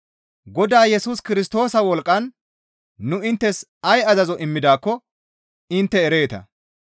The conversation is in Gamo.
Godaa Yesus Kirstoosa wolqqan nu inttes ay azazo immidaakko intte ereeta.